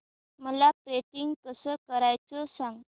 मला पेंटिंग कसं करायचं सांग